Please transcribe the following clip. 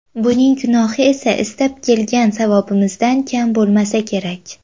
Buning gunohi esa istab kelgan savobimizdan kam bo‘lmasa kerak”.